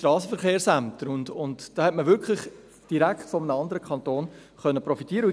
Man konnte dabei wirklich direkt von einem anderen Kanton profitieren.